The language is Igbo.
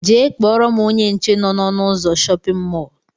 Jee kpọrọ m ónyé nche nọ n'ọnu ụzọ shóppin mol!!!